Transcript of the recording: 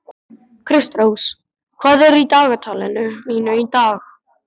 Kristrós, hvað er á dagatalinu mínu í dag?